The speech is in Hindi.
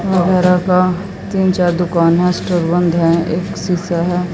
तीन चार दुकाने है। स्टोर बंद है। एक शीशा है।